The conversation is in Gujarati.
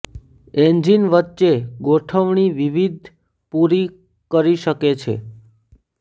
એન્જિન વચ્ચે ગોઠવણી વિવિધ પૂરી કરી શકે છે